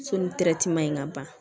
So ni ma ɲi ka ban